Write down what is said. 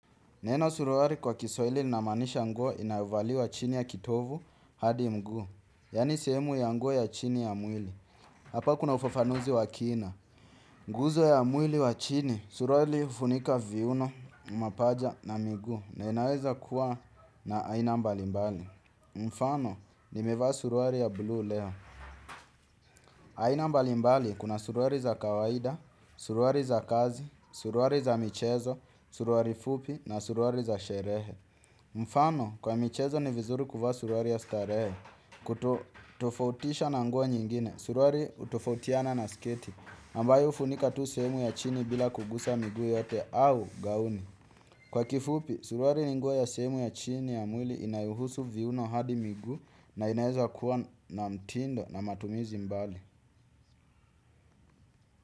Neno suruali kwa kiswahili linamaanisha nguo inayovaliwa chini ya kitovu hadi mguu. Yaani sehemu ya nguo ya chini ya mwili. Hapa kuna ufafanuzi wa kina. Nguzo ya mwili wa chini, suruali hufunika viuno, mapaja na miguu. Na inaweza kuwa na aina mbalimbali. Mfano, nimevaa suruali ya blue leo. Aina mbalimbali kuna suruali za kawaida, suruali za kazi, suruali za michezo, suruali fupi na suruali za sherehe. Mfano, kwa michezo ni vizuri kuvaa suruali ya starehe. Kutofautisha na nguo nyingine. Suruali hutofautiana na sketi, ambayo hufunika tu sehemu ya chini bila kugusa miguu yote au gauni. Kwa kifupi, suruali ni nguo ya sehemu ya chini ya mwili inayohusu viuno hadi miguu, na inaeza kuwa na mtindo na matumizi mbali.